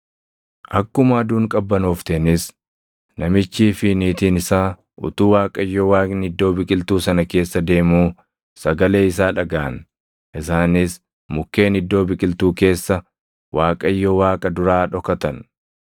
Akkuma aduun qabbanoofteenis namichii fi niitiin isaa utuu Waaqayyo Waaqni iddoo biqiltuu sana keessa deemuu sagalee isaa dhagaʼan; isaanis mukkeen iddoo biqiltuu keessa Waaqayyo Waaqa duraa dhokatan.